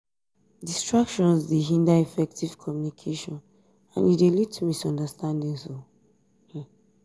distractions dey hinder effective communication and e dey lead to misunderstanding.